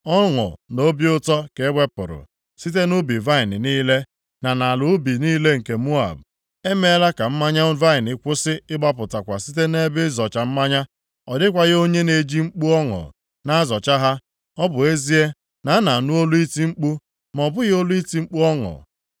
Ọṅụ na obi ụtọ ka e wepụrụ site nʼubi vaịnị niile, na nʼala ubi niile nke Moab. E meela ka mmanya vaịnị kwụsị ịgbapụtakwa site nʼebe ịzọcha mmanya. Ọ dịkwaghị onye na-eji mkpu ọṅụ na-azọcha ha, Ọ bụ ezie na a na-anụ olu iti mkpu, ma ọ bụghị olu iti mkpu ọṅụ.